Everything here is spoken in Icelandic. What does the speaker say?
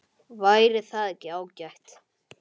Útyfir pollinn